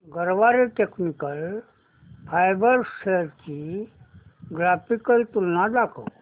Garware technical fibres shares ची graphical तुलना दाखव